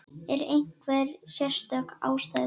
Er einhver sérstök ástæða?